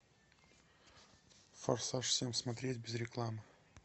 форсаж семь смотреть без рекламы